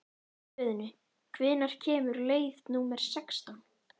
Guðni, hvenær kemur leið númer sextán?